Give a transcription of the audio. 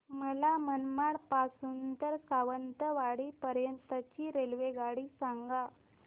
मला मनमाड पासून तर सावंतवाडी पर्यंत ची रेल्वेगाडी सांगा